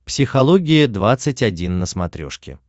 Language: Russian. психология двадцать один на смотрешке